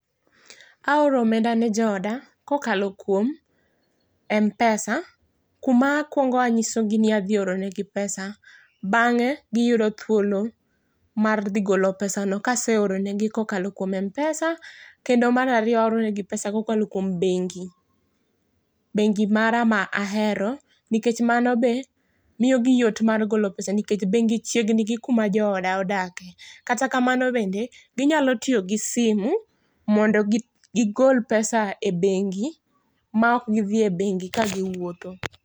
Aoro omenda ne jooda kokalo kuom Mpesa kuma akuongo anyisogi ni adhi oronegi pesa, bange giyudo thuolo mar dhi golo pesano kase oronegi kokalo kuom Mpesa. Kendo mar ariyo aoronegi pesa kokalo kuom bengi ,bengi mara ma ahero nikech mano be miyogi yot mar golo pesa nikech bengi chiegni gi kuma jooda odake. Kata kamano bende ,ginyalo tiyo gi simu mondo gigol pesa e bengi maok gidhie bengi ka giwuotho